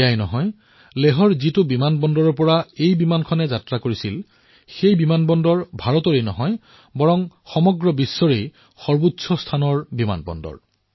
এয়াই নহয় লেহৰ যি বিমানবন্দৰৰ পৰা এই বিমানে উৰা মাৰিছে সেই বিমানবন্দৰ কেৱল ভাৰতৰেই নহয় বৰঞ্চ সমগ্ৰ বিশ্বতে সৰ্বাধিক উচ্চতাত অৱস্থিত বিমানবন্দৰ